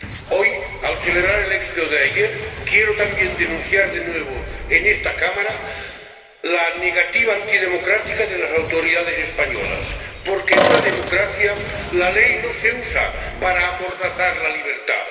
Hoy, al celebrar el éxito de ayer, quiero también denunciar de nuevo en esta Cámara la negativa antidemocrática de las autoridades españolas, porque, en una democracia, la ley no se usa para amordazar la libertad